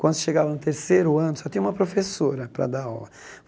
Quando chegava no terceiro ano, só tinha uma professora para dar aula.